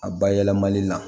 A bayɛlɛmali la